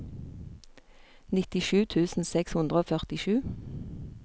nittisju tusen seks hundre og førtisju